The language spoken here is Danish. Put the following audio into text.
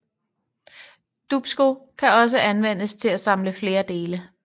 Dupsko kan også anvendes til at samle flere dele